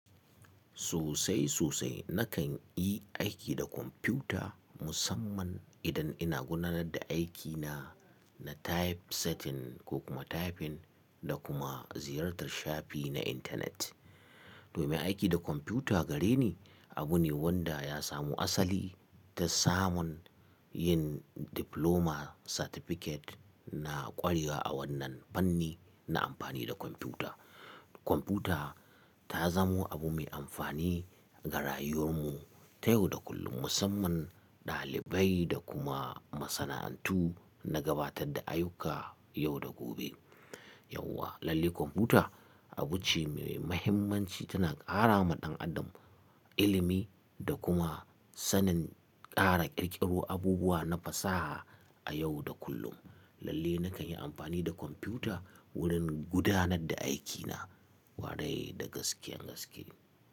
Sosai sosai nakan yi aiki da kwamfuta musamman idan ina gudanar da aikina na typesetting ko kuma typing da kuma ziyartar shafi na intanet. Domin aiki da kwamfuta gare ni abu ne wanda ya samu asali ta samun yin Diploma Certificate na ƙwarewa a wannan fanni na amfani da kwamfuta. Kwamfuta ta zamo abu mai amfani ga rayuwar mu ta yau da kullum musamman ɗalibai da kuma masana'antu na gabatar da ayyuka yau da gobe. Yau wa lalle kwamfuta abu ce mai mahimmanci tana ƙara ma ɗan adam ilimi da kuma sanin ƙara ƙirƙiro abubuwa na fasaha a yau da kullum. Lalle nakan yi amfani da kwamfuta wurin gudanar da aikina kwarai da gaske gaske.